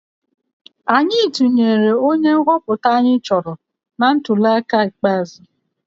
Anyị tụnyere onye nhọpụta anyị chọrọ na ntuliaka ikpeazụ